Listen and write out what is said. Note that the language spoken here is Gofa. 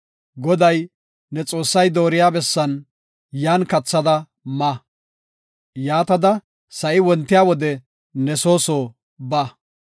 Goday, ne Xoossay dooriya bessan, yan kathada ma; yaatada sa7i wontiya wode ne soo soo ba.